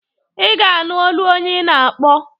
Ị ga-anụ olu onye ị na-akpọ.